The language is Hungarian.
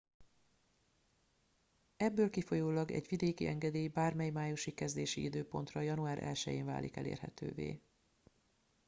ebből kifolyólag egy vidéki engedély bármely májusi kezdési időpontra január 1 én válik elérhetővé